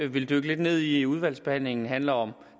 vil dykke lidt ned i i udvalgsbehandlingen handler om